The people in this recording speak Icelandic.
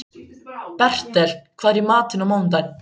Bertel, hvað er í matinn á mánudaginn?